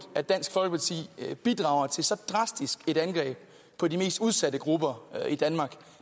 at dansk folkeparti bidrager til så drastisk et angreb på de mest udsatte grupper i danmark